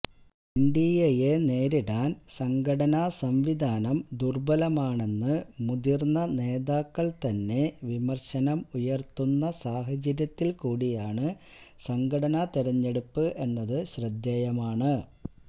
എൻഡിഎയെ നേരിടാൻ സംഘടനാസംവിധാനം ദുർബലമാണെന്നു മുതിർന്ന നേതാക്കൾ തന്നെ വിമർശനം ഉയർത്തുന്ന സാഹചര്യത്തിൽ കൂടയാണ് സംഘടനാ തെരഞ്ഞടെുപ്പ് എന്നത് ശ്രദ്ധേയമാണ്